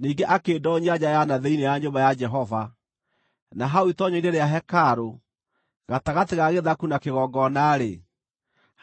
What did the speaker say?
Ningĩ akĩndoonyia nja ya na thĩinĩ ya nyũmba ya Jehova, na hau itoonyero-inĩ rĩa hekarũ, gatagatĩ ga gĩthaku na kĩgongona-rĩ,